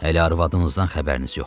Hələ arvadınızdan xəbəriniz yoxdur.